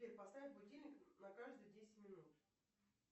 сбер поставь будильник на каждые десять минут